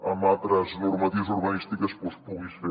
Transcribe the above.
amb altres normatives urbanístiques doncs puguis fer